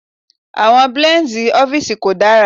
Àwọn blíǹdì ọ́fíìsì kò dára.